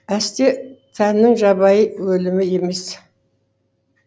әсте тәннің жабайы өлімі емес